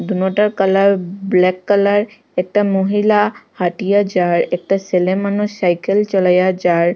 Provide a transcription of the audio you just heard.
দোনোটার colour black colour একটা মহিলা হাঁটিয়া যার একটা ছেলেমানুষ সাইকেল চলাইয়া যার ।